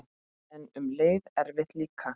En um leið erfitt líka.